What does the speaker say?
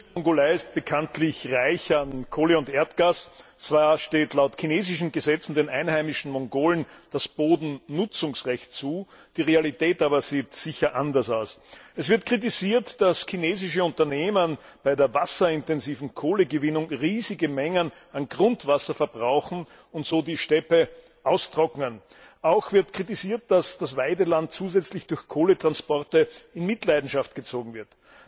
Frau Präsidentin, Herr Kommissar! Die Innere Mongolei ist bekanntlich reich an Kohle und Erdgas. Zwar steht laut den chinesischen Gesetzen den einheimischen Mongolen das Bodennutzungsrecht zu, die Realität sieht aber sicher anders aus. Es wird kritisiert, dass chinesische Unternehmen bei der wasserintensiven Kohlegewinnung riesige Mengen an Grundwasser verbrauchen und so die Steppe austrocknen. Auch wird kritisiert, dass das Weideland zusätzlich durch Kohletransporte in Mitleidenschaft gezogen wird.